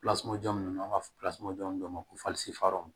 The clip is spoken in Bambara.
jɔn ninnu an b'a fɔ dɔw ma ko